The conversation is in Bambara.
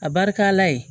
A barikala yen